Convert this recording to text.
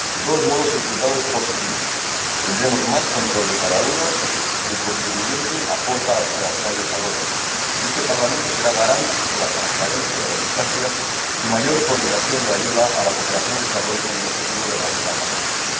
De todos modos, el resultado es positivo. Tendremos más control sobre cada euro que el contribuyente aporta a la cooperación al desarrollo y este Parlamento será garante de la transparencia, de la eficacia y de una mayor coordinación de la ayuda a la cooperación al desarrollo con el objetivo de erradicar la pobreza.